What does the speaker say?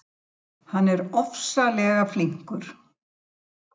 Þeir taka hann í bóndabeygju, fara létt með að halda á honum á milli sín.